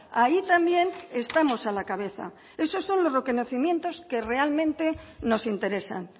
ahí también estamos a la cabeza esos son los reconocimientos que realmente nos interesan